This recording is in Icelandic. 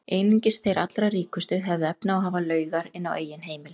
Einungis þeir allra ríkustu höfðu efni á að hafa laugar inni á eigin heimili.